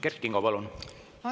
Kert Kingo, palun!